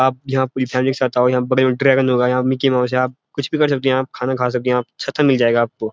आप यहाँ पूरी फैमिली के साथ आओ यहाँ बड़े-बड़े ड्रैगन होगा यह मिक्‍की माऊस है आप कुछ भी कर सकते हो आप खाना खा सकते हो सबकुछ मिल जाएगा आपकों।